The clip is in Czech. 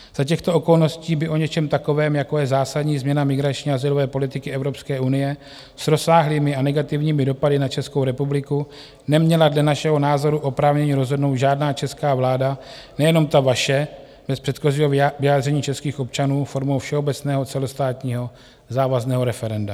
Za těchto okolností by o něčem takovém, jako je zásadní změna migrační a azylové politiky Evropské unie s rozsáhlými a negativními dopady na Českou republiku, neměla dle našeho názoru oprávnění rozhodnout žádná česká vláda, nejenom ta vaše, bez předchozího vyjádření českých občanů formou všeobecného celostátního závazného referenda.